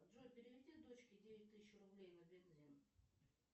джой переведи дочке девять тысяч рублей на бензин